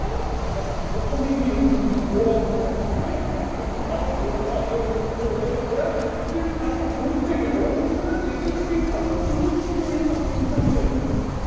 বেশ ওখানে গিয়ে হুন্ডি ওরা ওখানে থাকবে এক সঙ্গে চান ওরা সবাই ওদের দোকানে হয়ে যাবে ওরা ওদের খাটে ধরছে না ওরা চেপে চেপেই থাকবে গুটি সুটি করেই থাকবো কিন্তু আমরা এখানেই থাকবো